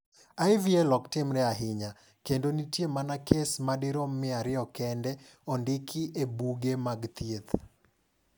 IVL ok timre ahinya, kendo nitie mana kes madirom 200 kendene ondiki e buge mag thieth.